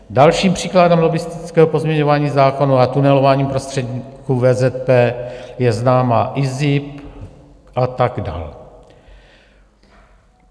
Dalším příkladem lobbistického pozměňování zákonů a tunelování prostředníků VZP je známá IZIP a tak dále.